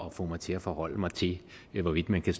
at få mig til at forholde mig til hvorvidt man kan